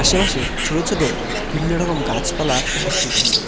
আশেপাশে ছোট ছোট বিভিন্ন রকম গাছপালা উপস্থিত আছে।